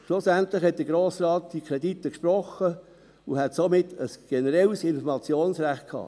Schlussendlich sprach der Grosse Rat diese Kredite und hätte somit ein generelles Informationsrecht gehabt.